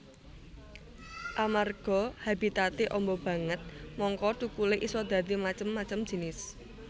Amerga habitaté amba banget mangka thukulé isa dadi macem macem jinis